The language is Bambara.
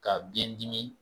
Ka biɲɛ dimi